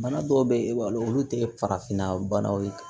Bana dɔw be ye e b'a dɔn olu te farafinna banaw ye